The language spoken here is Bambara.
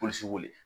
Polisiw wele